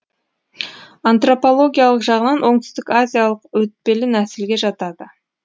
антропологиялық жағынан оңтүстік азиялық өтпелі нәсілге жатады